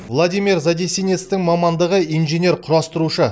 владимир задесинецың мамандығы инженер құрастырушы